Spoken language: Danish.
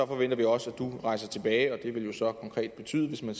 forventer vi også at du rejser tilbage det vil jo så konkret betyde hvis man